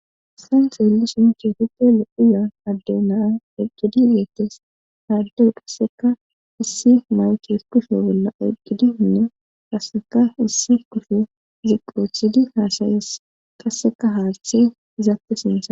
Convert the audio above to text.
saysan xeellishin keehippe lo7iya adde naa eqqidi beettes haaddey qasseka issi maweti hesqufe bolla eqqidi unna qasseka issi kusfhe ziqoothidi haasayes qasseka haallthe izaappe sintha